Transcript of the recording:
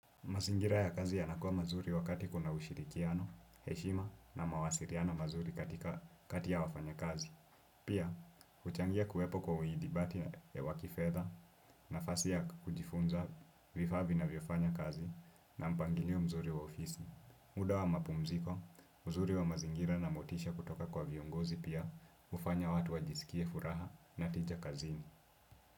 Mazingira ya kazi yanakua mazuri wakati kuna ushirikiano, heshima na mawasiliano mazuri katika kati ya wafanya kazi. Pia, huchangia kuwepo kwa uidibati wa kifedha na fasi ya kujifunza vifaa vinavyofanya kazi na mpangilio mzuri wa ofisi. Muda wa mapumziko, uzuri wa mazingira na motisha kutoka kwa viongozi pia hufanya watu wajisikie furaha na tija kazini.